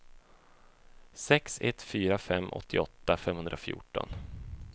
sex ett fyra fem åttioåtta femhundrafjorton